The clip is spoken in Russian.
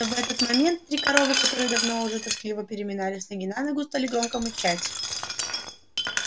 в этот момент три коровы которые давно уже тоскливо переминались с ноги на ногу стали громко мычать